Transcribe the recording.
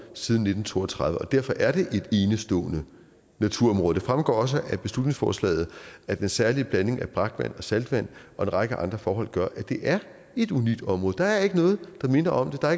siden nitten to og tredive og derfor er det et enestående naturområde det fremgår også af beslutningsforslaget at den særlige blanding af brakvand og saltvand og en række andre forhold gør at det er et unikt område der er ikke noget der minder om det der